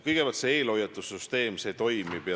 Kõigepealt, see eelhoiatussüsteem toimib.